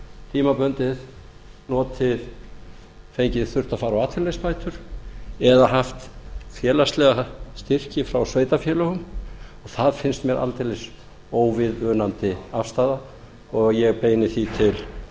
tímabundið þurft að fara á atvinnuleysisbætur eða haft félagslega styrki frá sveitarfélögum og það finnst mér aldeilis óviðunandi afstaða og ég beini því